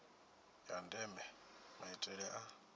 ya ndeme maitele a